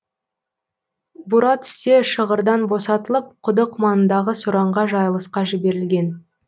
бура түсте шығырдан босатылып құдық маңындағы сораңға жайылысқа жіберілген